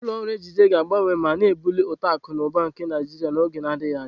Ulọ ọrụ n'ejide ga-agbanwe ma na-ebuli uto akụ na ụba na Naijiria n'oge na-adịghị anya.